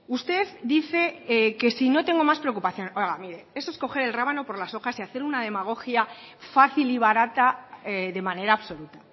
usted dice que si no tengo más preocupaciones oiga mire eso es coger el rábano por las hojas y hacer una demagogia fácil y barata de manera absoluta